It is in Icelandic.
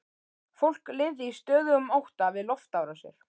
Fólk lifði í stöðugum ótta við loftárásir.